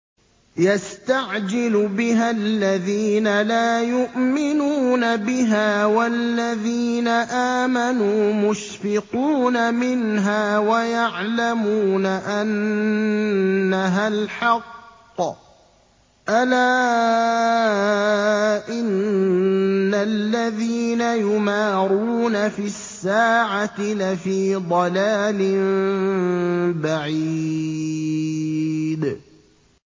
يَسْتَعْجِلُ بِهَا الَّذِينَ لَا يُؤْمِنُونَ بِهَا ۖ وَالَّذِينَ آمَنُوا مُشْفِقُونَ مِنْهَا وَيَعْلَمُونَ أَنَّهَا الْحَقُّ ۗ أَلَا إِنَّ الَّذِينَ يُمَارُونَ فِي السَّاعَةِ لَفِي ضَلَالٍ بَعِيدٍ